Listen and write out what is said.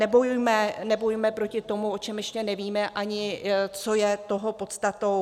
Nebojujme proti tomu, o čem ještě ani nevíme, co je toho podstatou.